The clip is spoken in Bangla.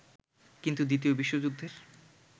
কিন্তু দ্বিতীয় বিশ্বযুদ্ধের